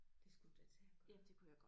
Det skulle du da tage at gøre